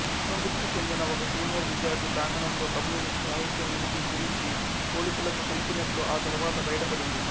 అసంతృప్తి చెందిన ఒక సీనియర్ విద్యార్థి ప్రాంగణంలో కమ్యూనిస్ట్ సాహిత్యం ఉనికి గురించి పోలీసులకు తెలిపినట్లు ఆ తరువాత బయటపడింది